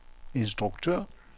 instruktør